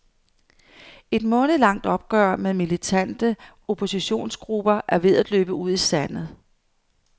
Et månedlangt opgør med militante oppositionsgrupper er ved at løbe ud i sandet.